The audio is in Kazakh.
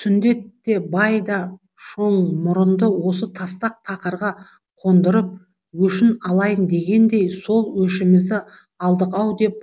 сүндет те бай да шоңмұрынды осы тастақ тақырға қондырып өшін алайын дегендей сол өшімізді алдық ау деп